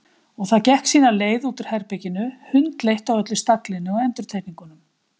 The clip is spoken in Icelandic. Og það gekk sína leið út úr herberginu, hundleitt á öllu staglinu og endurtekningunum.